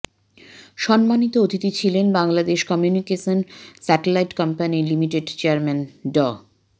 সম্মানিত অতিথি ছিলেন বাংলাদেশ কমিউনিকেশন স্যাটেলাইট কোম্পানি লিমিটেডের চেয়ারম্যান ড